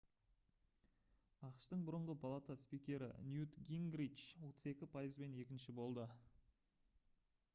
ақш-тың бұрынғы палата спикері ньют гингрич 32 пайызбен екінші болды